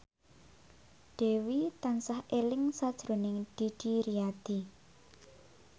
Dewi tansah eling sakjroning Didi Riyadi